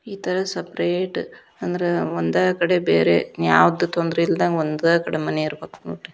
ಈ ಥರ ಸೆಪೆರೇಟ್ ಅಂದ್ರ ಒಂದ ಕಡೆ ಬೇರೆ ಯಾವದು ತೊಂದರೆ ಇಲ್ಲದಂಗ ಒಂದ ಕಡೆ ಮನಿ ಇರ್ಬೆಕ್ ನೋಡ್ರಿ.